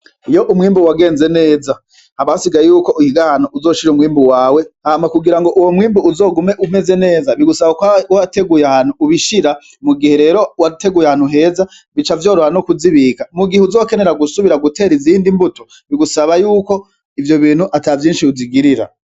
Iyo umwimbu wagenze neza, haba hasigaye yuko uhiga ahantu uzoshira umwimbu wawe. Hama kugira ngo uwo mwimbu uzogume umeze neza bigusaba ko uba wateguye ahantu ubishira. Mugihe rero wateguye ahantu heza, bica vyoroha no kuzibika. Mugihe uzokenera gusubira gutegura izindi mbuto, bigusaba yuko ivyo bintu ata vyinshi uzigirira